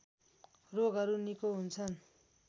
रोगहरू निको हुन्छन्